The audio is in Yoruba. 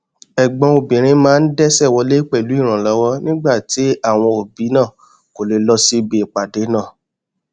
ẹgbọn obìnrin náà dẹsẹ wọlé pẹlú ìrànlọwọ nígbà tí àwọn òbí náà kò lè lọ síbi ìpàdé náà